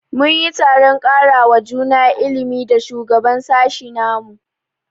Mun yi taron karawa juna ilimi da shugaban sashi na mu.